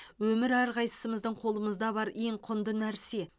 өмір әрқайсымыздың қолымызда бар ең құнды нәрсе